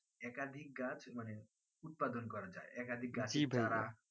একাধিক গাছ মানে উৎপাদন করা যাই একাধিক গাছ